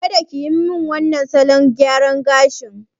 Kada kiyi min wannan salon gyaran gashin!